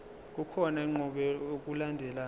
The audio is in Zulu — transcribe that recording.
kukhona inqubo yokulandelayo